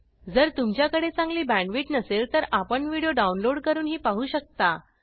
जर तुमच्याकडे चांगली बॅंडविड्त नसेल तर आपण व्हिडिओ डाउनलोड करूनही पाहू शकता